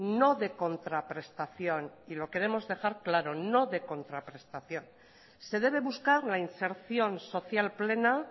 no de contraprestación y lo queremos dejar claro no de contraprestación se debe buscar la inserción social plena